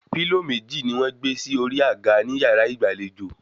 Pílò méjì ni wọ́n gbé sí orí àga ní yàrá ìgbàlejò